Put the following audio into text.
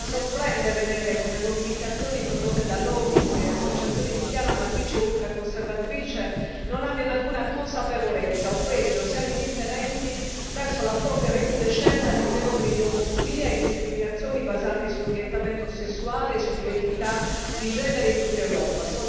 Sorprende vedere come mobilitazioni condotte da lobby e associazioni di chiara matrice ultraconservatrice non abbiano alcuna consapevolezza, o peggio siano indifferenti, verso la forte recrudescenza di fenomeni di omofobia e discriminazioni basate sull'orientamento sessuale e sull'identità di genere in tutta Europa.